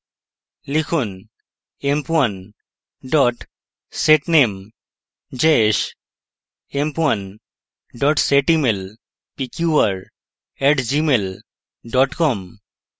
লিখুন: emp1 setname jayesh; emp1 setemail pqr @gmail com;